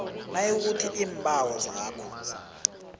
nayikuthi iimbawo zakho